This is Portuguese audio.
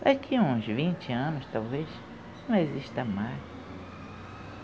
Daqui a uns vinte anos, talvez, não exista mais.